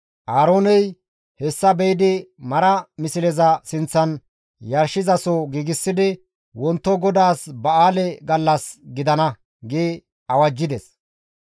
Aarooney hessa be7idi mara misleza sinththan yarshizaso giigsidi, «Wonto GODAAS ba7aale gallas gidana» gi awajjides.